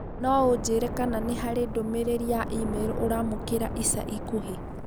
No ũnjĩĩre kana nĩ harĩ ndũmĩrĩri ya e-mail ũraamũkĩra ica ikuhĩ